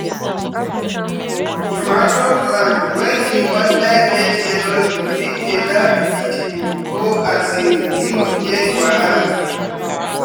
tomato plant wey di under get yellow leaf fit dey lack vitamin or um di root get wahala.